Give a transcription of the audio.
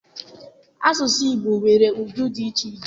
Asụsụ Igbo nwere ụdị dị iche iche.